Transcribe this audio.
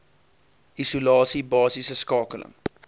isolasie basiese skakeling